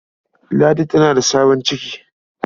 Ladi tana da sabon ciki.